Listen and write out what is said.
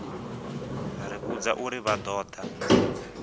ri vhudza uri vha ṱoḓa